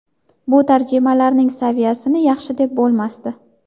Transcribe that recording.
Bu tarjimalarning saviyasini yaxshi deb bo‘lmasdi.